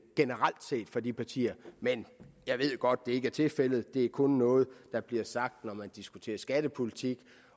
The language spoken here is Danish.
generelt set fra de partier men jeg ved godt at det ikke er tilfældet det er kun noget der bliver sagt når man diskuterer skattepolitik